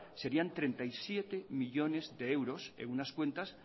serían treinta y siete millónes de euros en unas cuentas